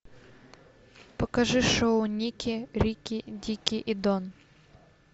покажи шоу никки рикки дикки и дон